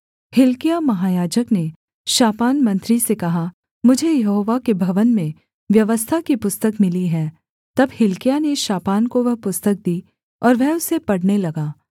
हिल्किय्याह महायाजक ने शापान मंत्री से कहा मुझे यहोवा के भवन में व्यवस्था की पुस्तक मिली है तब हिल्किय्याह ने शापान को वह पुस्तक दी और वह उसे पढ़ने लगा